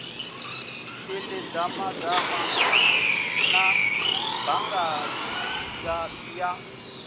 ḓi dadamala na balaga ya